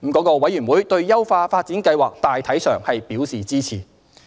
該委員會對優化發展計劃大體上表示支持。